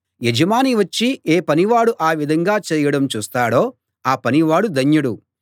యజమాని వచ్చి ఏ పనివాడు ఆ విధంగా చేయడం చూస్తాడో ఆ పనివాడు ధన్యుడు